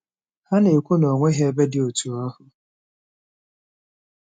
Ha na-ekwu na o nweghị ebe dị otú ahụ.